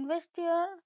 ইনভাচতিয়েল